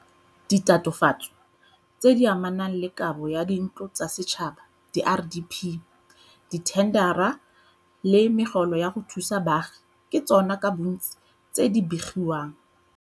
Ditatofatso tse di amanang le kabo ya dintlo tsa setšhaba, diRDP, dithendara le megolo ya go thusa baagi ke tsona ka bontsi tse di begiwang.